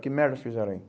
Que merda vocês fizeram aí?